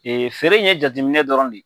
Ee feere in ye jateminɛ dɔrɔn de ye.